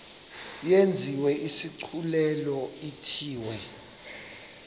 yenziwe isigculelo ithiwe